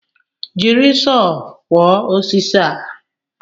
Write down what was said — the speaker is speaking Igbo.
Jiri Sọọ kwọọ osisi a